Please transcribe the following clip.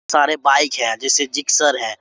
सारे बाइक है जैसे जिक्सर है।